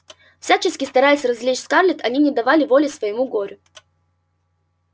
всячески стараясь развлечь скарлетт они не давали воли своему горю